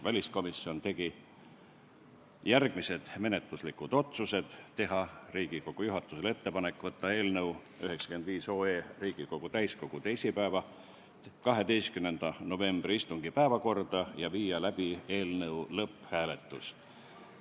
Väliskomisjon tegi järgmised menetluslikud otsused: teha Riigikogu juhatusele ettepanek võtta eelnõu 95 Riigikogu täiskogu teisipäeva, 12. novembri istungi päevakorda ja viia läbi eelnõu lõpphääletus.